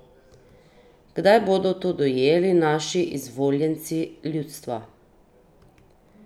Kdaj bodo to dojeli naši izvoljenci ljudstva?